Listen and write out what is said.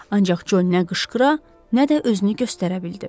Ancaq Co nə qışqıra, nə də özünü göstərə bildi.